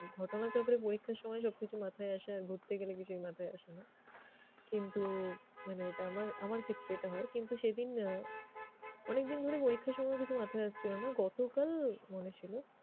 ঘটনাচক্রে পরীক্ষার সময়েই সবকিছু মাথায় আসে আর ঘুরতে গেলে কিছুই মাথায় আসে না কিন্তু মানে এটা আমার আমার ক্ষেত্রে এটা হয় কিন্তু সেদিন আহ অনেকদিন ধরে পরীক্ষায় সময়ও কিছু মাথায় আসছিল না, গতকাল মনে ছিল।